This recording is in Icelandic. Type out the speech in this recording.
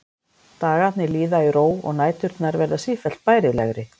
Dagarnir líða í ró og næturnar verða sífellt bærilegri.